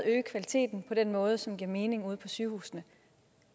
øge kvaliteten på den måde som giver mening ud på sygehusene